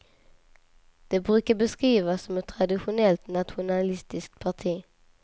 Det brukar beskrivas som ett traditionellt nationalistiskt parti.